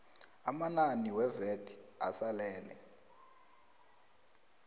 amanani wevat asalele